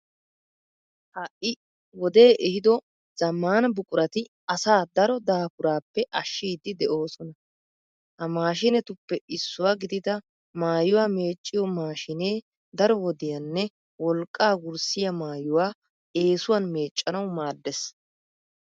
Ha"i wodee ehido zammaana buqurati asaa daro daafuraappe ashshiiddi de'oosona. Ha maashiinetuppe issuwa gidida maayuwa meecciyo maashiinee daro wodiyanne wolqqaa wurssiya maayuwa eesuwan meeccanawu maaddees.